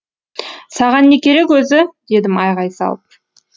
саған не керек өзі дедім айғай салып